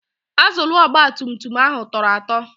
Azụlụ ogbatumtum ahụ tọrọ atọ.